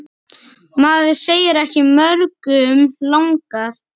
Maður segir ekki mörgum langar.